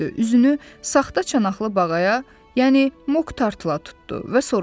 Üzünü saxta çanaqlı bağaya, yəni Mok Tartıla tutdu və soruşdu.